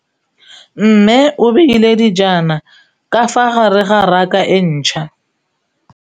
Mmê o beile dijana ka fa gare ga raka e ntšha.